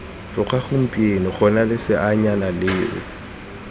tloga gompieno gona leseanyana leo